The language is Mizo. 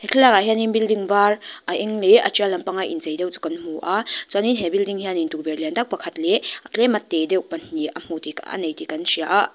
he thlalakah hianin building var a eng leh a trial lampang a inchei deuh chu kan hmu a chuanin he building hianin tukverh lian tak pakhat leh tlema te deuh pahnih a hmu tih a nei tih kan hria a.